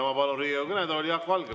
Ma palun Riigikogu kõnetooli Jaak Valge.